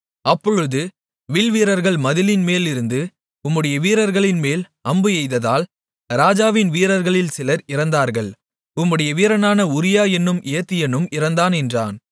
அப்பொழுது வில்வீரர்கள் மதிலின் மேலிருந்து உம்முடைய வீரர்களின்மேல் அம்பு எய்ததால் ராஜாவின் வீரர்களில் சிலர் இறந்தார்கள் உம்முடைய வீரனான உரியா என்னும் ஏத்தியனும் இறந்தான் என்றான்